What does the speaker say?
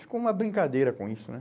Ficou uma brincadeira com isso, né?